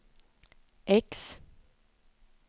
X